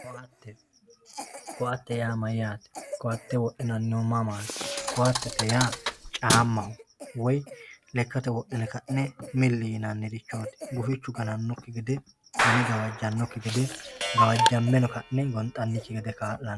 Koatte, koatte yaa mayyate ,koatte wodhinannihu mamati koattete yaa camaho woyi lekkate wodhine ka'ne mili yinannirichoti gufichu gananokki gede gane gawajanokki gede gawajameno ka'ne gonxannikki gede kaa'lano.